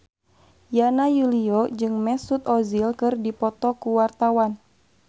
Yana Julio jeung Mesut Ozil keur dipoto ku wartawan